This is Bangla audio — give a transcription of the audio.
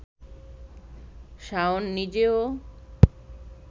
শাওন নিজেও